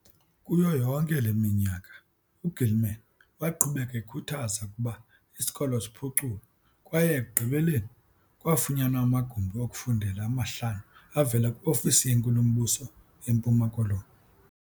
Kuyo yonke le minyaka, u-Gilman waqhubeka ekhuthaza ukuba isikolo siphuculwe kwaye ekugqibeleni, kwafunyanwa amagumbi okufundela amahlanu avela kwi-Ofisi yeNkulumbuso yeMpuma Koloni.